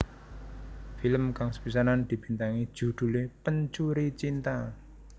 Film kang sepisanan dibintangi judhulé Pencuri Cinta